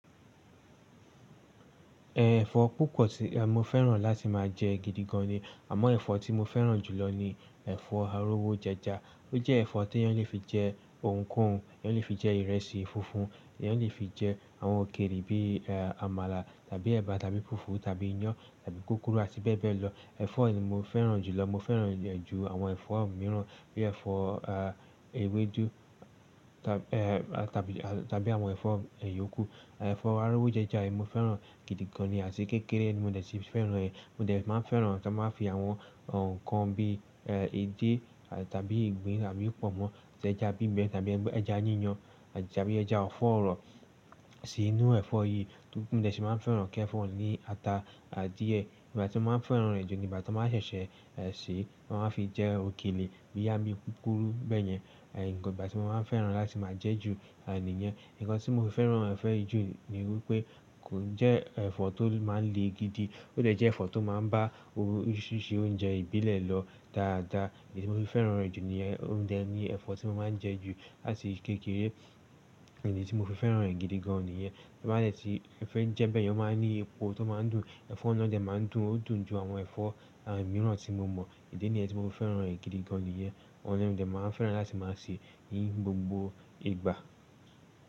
Ẹ̀fọ́ púpọ̀ tí mo fẹ́ràn láti máa jẹ gidi gan ni. Àmọ́ ẹ̀fọ́ tí mo fẹ́ràn jù lọ ni ẹ̀fọ́ arówó jẹja, ó jẹ́ ẹ̀fọ́ tè èyàn lè fi jẹ òun kò òùn, èyàn lè fi jẹ ìrẹsì funfun, èyàn lè fi jẹ àwọn òkèlè bí i àmàlà tàbí ẹba tàbí fùfú tàbí iyán tàbí kúkúrú àti, bẹ́ẹ̀ bẹ́ẹ̀ lọ. Ẹ̀fọ́ ni mo fẹ́ràn jù lọ, mo fẹ́ràn rẹ̀ ju àwọn ẹ̀fọ́ mìíràn bí i ẹ̀fọ́ ewédú tàbí àwọn ẹ̀fọ́ yòókù. Ẹ̀fọ́ arówó jẹja mo fẹ́ràn gidi gan ni àti kékeré ni mo n dẹ̀ fi fẹ́ràn rẹ̀. Mo n dẹ̀ máa fẹ́ràn tó máa fi àwọn ǹkan bíi edé tàbí ìgbín tàbí pọ̀nmọ́ tẹja bímọ tàbí ẹja yíyan tàbí ẹja ọ̀fọ̀ ọ̀rọ̀ sí inú ẹ̀fọ́ yìí. Mo de sì máa ń fẹ́ràn kí ẹ̀fọ́ òun ní ata à díẹ̀, ìgbà tí mo máa ń fẹ́ràn rẹ̀ jù ni ìgbà tí wọ́n máa ń ṣẹ̀ṣẹ̀ sè é, wọ́n máa ń fi jẹ òkèlè boyá bi púpúrú bẹ́ẹ̀ yẹn. Ìgbà tí mo máa ń fẹ́ràn láti máa jẹ ju níyen. Ǹkan tí mo fi fẹ́ràn ẹ́fo yi jù ni wípé kò ń jẹ́ ẹ̀fọ́ tó máa ń le gidi, ó dẹ̀ jẹ́ ẹ̀fọ́ tó máa ń bá oríṣiríṣi oúnjẹ ìbílẹ̀ lọ dáadáa. Iyí tí mo fi fẹ́ràn rẹ̀ jù ni yẹn, óun dẹ̀ ni ẹ̀fọ́ tí mo máa ń jẹ jù láti kékeré. Ìdí tí mo fi fẹ́ràn rẹ̀ gidi gan ni yẹn. Tí bá dẹ̀ ti fẹ́ jẹ bẹ́ẹ̀ yẹn, ó máa ń ní epo tó máa ń dùn. Ẹ̀fọ́ náà dẹ̀ máa ń dùn, ó dùn ju àwọn ẹ̀fọ́ mìíràn tí mo mọ̀. Idí niyen tí mo fi fẹ́ràn rẹ̀ gidi gan ni yẹn. Òun ni mo dè máa ń fẹ́ràn láti máa se ní gbogbo ìgbà.